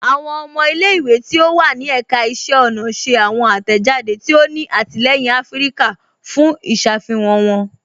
Awọn ọmọ ilẹ̀-ìwé tí ó wà ní èkà ìṣẹ̀ ọna ṣẹ̀ awọn atẹ́jàdé tí ó ní àtìlẹyìn Afíríkà fún ìṣàfihàn wọn